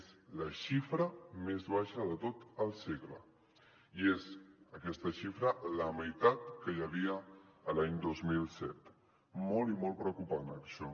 és la xifra més baixa de tot el segle i és aquesta xifra la meitat que hi havia l’any dos mil set molt i molt preocupant això